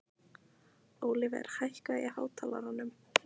Ólíver, hækkaðu í hátalaranum.